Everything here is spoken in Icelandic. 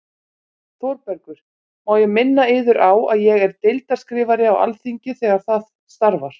ÞÓRBERGUR: Má ég minna yður á að ég er deildarskrifari á Alþingi- þegar það starfar.